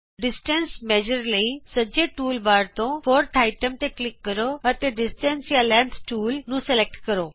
ਫਾਸਲਾ ਨਾਪਣ ਲਈ ਸੱਜੇ ਟੂਲ ਬਾਰ ਤੋਂ ਚੌਥੇ ਆਈਟਮ ਤੇ ਕਲਿਕ ਕਰੋ ਅਤੇ ਡਿਸਟੈਂਸ ਜਾਂ ਲੈਂਥ ਟੂਲ ਨੂੰ ਸਲੈਕਟ ਕਰੋ